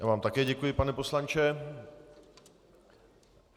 Já vám také děkuji, pane poslanče.